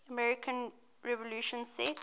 american revolution set